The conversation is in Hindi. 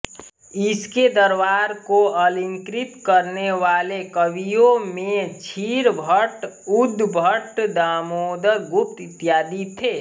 इसके दरबार को अलंकृत करनेवाले कवियों में क्षीर भट्ट उद्भट दामोदर गुप्त इत्यादि थे